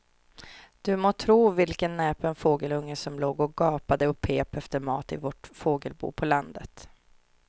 Du må tro vilken näpen fågelunge som låg och gapade och pep efter mat i vårt fågelbo på landet.